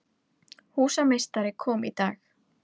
Húsameistari kom í dag.